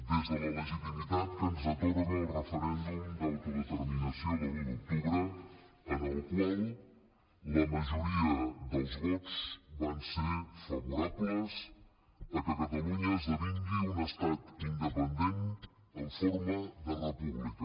des de la legitimitat que ens atorga el referèndum d’autodeterminació de l’un d’octubre en el qual la majoria dels vots van ser favorables a que catalunya esdevingui un estat independent en forma de república